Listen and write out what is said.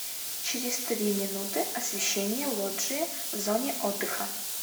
через три минуты освещение лоджии в зоне отдыха